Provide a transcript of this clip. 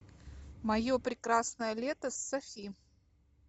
мое прекрасное лето с софи